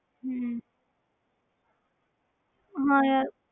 ਹਮ ਹਾਂ ਯਾਰ।